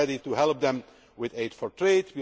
Union. We are ready to help them with aid for